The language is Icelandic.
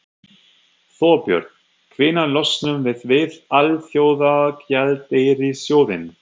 Þorbjörn: Hvenær losnum við við Alþjóðagjaldeyrissjóðinn?